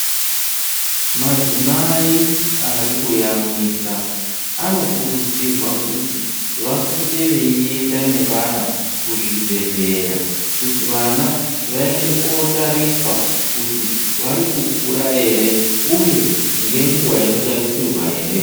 Madzimai ari kuyamwisa anokurudzirwa kuti vapote veienda nevana kuzvibhedhleya kuti vana vaende kotariswa kuti vari kukura ere uye ngenguwa inotarisirwa ere.